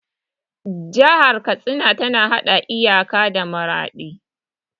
Jihar Katsina ta haɗa iyaka da Maraɗi.